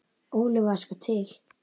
Óli var sko til.